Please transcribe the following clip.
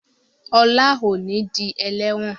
Ola o ní dì eléwòn